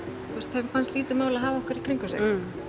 þeim fannst lítið mál að hafa okkur í kringum sig